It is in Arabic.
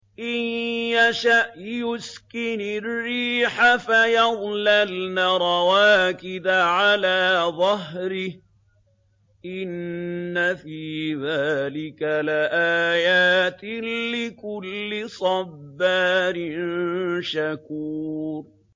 إِن يَشَأْ يُسْكِنِ الرِّيحَ فَيَظْلَلْنَ رَوَاكِدَ عَلَىٰ ظَهْرِهِ ۚ إِنَّ فِي ذَٰلِكَ لَآيَاتٍ لِّكُلِّ صَبَّارٍ شَكُورٍ